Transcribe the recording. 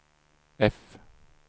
F